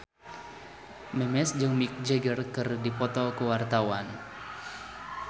Memes jeung Mick Jagger keur dipoto ku wartawan